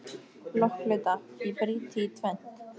Blokkflauta, ég brýt þig í tvennt.